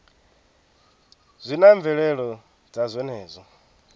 zwi na mvelelo dza zwenezwo